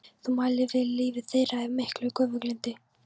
Þú mælir fyrir lífi þeirra af miklu göfuglyndi.